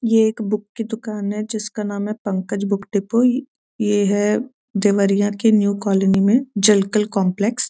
ये एक बुक की दुकान है जिसका नाम है पंकज बुक डिपो ई ये है देवरिया के न्यू कालोनी में जलकल कॉम्पलेस ।